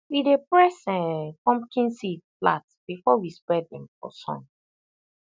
we dey press um pumpkin seed flat before we spread dem for sun